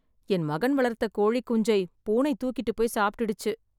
என் மகன் வளர்த்த கோழி குஞ்சை பூனை தூக்கிட்டு போய் சாப்பிட்டுடுச்சு.